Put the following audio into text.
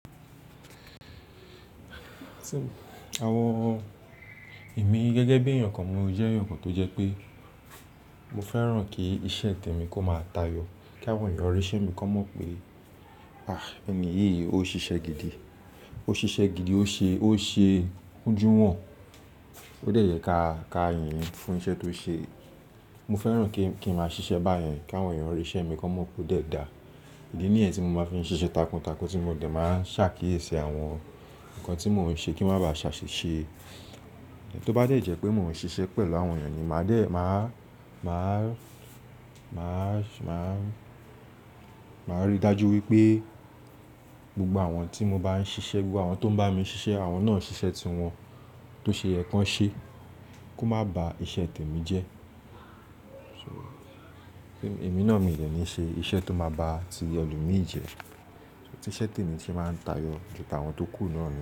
Àwọn, èmi gẹ́gẹ́ bí i èèyàn kan, mo jẹ́ èèyàn kan tó jẹ́ pé mo fẹ́ràn kí iṣẹ́ tèmi kó máa tayọ̀, kí àwọn èèyàn ri ise mi kan mọ̀ pé, ẹni yìí ó ṣiṣẹ́ gidi, ó ṣiṣẹ́ gidi, ó ṣe, ó ṣe ojú wọn. Ó dẹ̀ yẹ ká, ká yìn ín fún iṣẹ́ tó ṣe. Mo fẹ́ràn kí ń, kí ń máa ṣiṣẹ́ báyẹn kí àwọn èèyàn ri ise mi kan mọ̀ pé ó dẹ̀ da. Ìdí nìyẹn tí mo máa fi ń ṣiṣẹ́ takuntakun tí mo dẹ̀ máa ń ṣàkíyèsí àwọn nǹkan tí mòún ṣe kí má bàá ṣàṣìṣe. Tó bá dẹ̀ jẹ pé mòún ṣe iṣẹ́ pẹ̀lú àwọn èèyàn ni màá dè, màá, màá, màá, màá rí dájú wípé gbogbo àwọn tí mo bá ń ṣiṣẹ́, gbogbo àwọn tó ń bá mi ṣiṣẹ́, àwọn náà ṣiṣẹ́ tiwọn tó ṣe yẹ́ kan ṣe kó má ba iṣẹ́ tèmi jẹ́. Èmi náà mi dẹ ní ṣe iṣẹ́ tó máa ba ti ẹlo mi jẹ́. Iṣẹ́ tèmi sì máa ń tayọ ju tàwọn tó kù lọ rí.